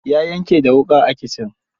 Ya yanke da wuƙa a kitchen.